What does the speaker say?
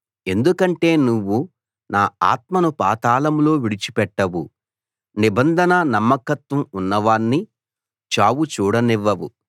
ఎందుకంటే నువ్వు నా ఆత్మను పాతాళంలో విడిచి పెట్టవు నిబంధన నమ్మకత్వం ఉన్నవాణ్ణి చావు చూడనివ్వవు